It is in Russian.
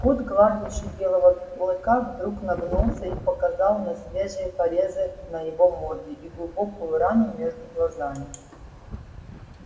скотт гладивший белого клыка вдруг нагнулся и показал на свежие порезы на его морде и глубокую рану между глазами